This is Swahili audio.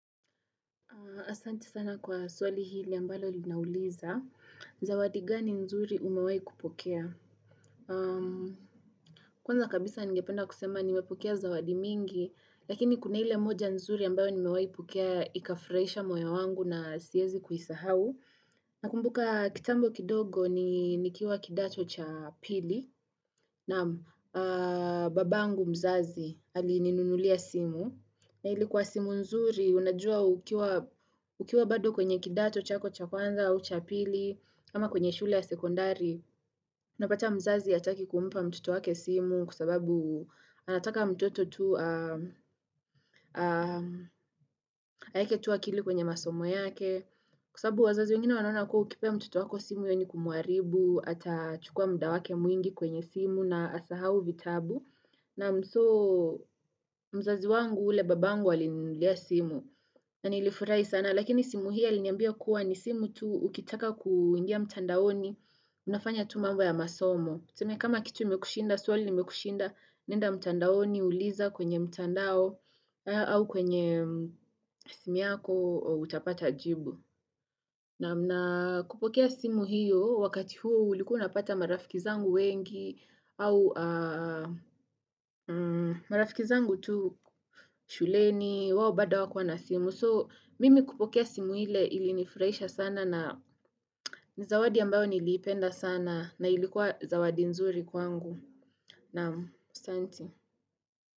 Asante sana kwa swali hili ambalo linauliza. Zawadi gani nzuri umewai kupokea? Kwanza kabisa ningependa kusema nimepokea zawadi mingi, lakini kuna ile moja nzuri ambayo nimewai pokea ikafurahisha moyo wangu na siwezi kuisahau. Nakumbuka kitambo kidogo nikiwa kidato cha pili, naam babangu mzazi alininunulia simu. Na ilikuwa simu nzuri, unajua ukiwa bado kwenye kidato, chako, cha kwanza, au cha pili ama kwenye shule ya sekondari. Unapata mzazi hataki kumpa mtoto wake simu kwa sababu anataka mtoto tu aweke tu akili kwenye masomo yake. Kwa sababu wazazi wengine wanaona kuwa ukipea mtoto wako simu hiyo ni kumuaribu, atachukua muda wake mwingi kwenye simu na asahau vitabu. Naam soo mzazi wangu ule babangu alinulia simu na nilifurahi sana lakini simu hii aliniambia kuwa ni simu tu ukitaka kuingia mtandaoni unafanya tu mambo ya masomo. Tuseme kama kitu imekushinda, swali limekushinda, nenda mtandaoni uliza kwenye mtandao au kwenye simu yako utapata jibu. Naam. Na kupokea simu hiyo wakati huo ulikuwa unapata marafiki zangu wengi au marafiki zangu tu shuleni, wao bado hawakuwa na simu. So mimi kupokea simu ile ilinifurahisha sana na ni zawadi ambayo niliipenda sana na ilikuwa zawadi nzuri kwangu. Naam asante.